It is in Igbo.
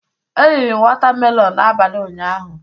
Eriri m watamelọn n'abalị ụnyaahụ.